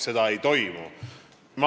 Seda ei juhtu.